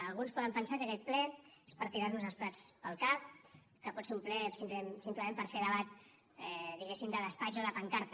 alguns poden pensar que aquest ple és per tirar nos els plats pel cap que pot ser un ple simplement per fer debat diguem ne de despatx o de pancarta